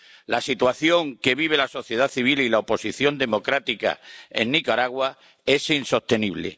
La situación que vive la sociedad civil y la oposición democrática en Nicaragua es insostenible.